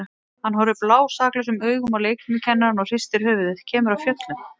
Hann horfir blásaklausum augum á leikfimikennarann og hristir höfuðið, kemur af fjöllum.